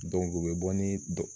u bɛ bɔ ni